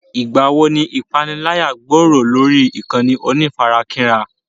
Ìgbà wo ni ìpániláyà gbòòrò lórí ìkànnì onífarakínra?